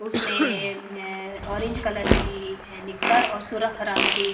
उसने orange colour की निक्कर और सुरख रंग की--